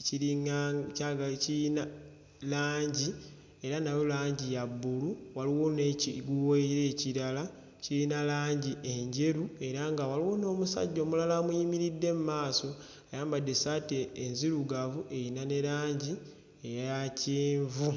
ekiringa kyagala kiyina langi era nawo langi ya bbulu waliwo n'ekiguwa era ekirala kiyina langi enjeru era nga waliwo n'omusajja omulala amuyimiridde mmaaso ayambadde essaati enzirugavu eyina ne langi eya kyenvu.